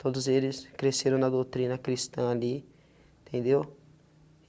Todos eles cresceram na doutrina cristã ali, entendeu?